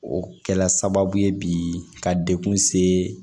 O kɛla sababu ye bi ka dekun se